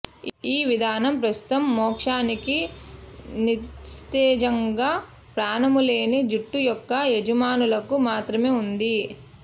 ఈ విధానం ప్రస్తుతం మోక్షానికి నిస్తేజంగా ప్రాణములేని జుట్టు యొక్క యజమానులకు మాత్రమే ఉంది